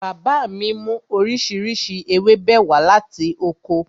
Bàbá mi mú oríṣiríṣi ewébẹ̀ wá láti oko